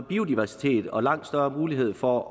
biodiversitet og langt større mulighed for